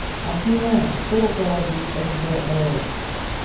афина кто руководит сб рф